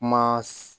Kuma